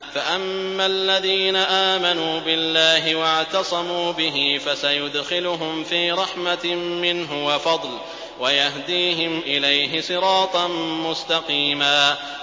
فَأَمَّا الَّذِينَ آمَنُوا بِاللَّهِ وَاعْتَصَمُوا بِهِ فَسَيُدْخِلُهُمْ فِي رَحْمَةٍ مِّنْهُ وَفَضْلٍ وَيَهْدِيهِمْ إِلَيْهِ صِرَاطًا مُّسْتَقِيمًا